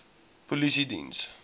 polisiediens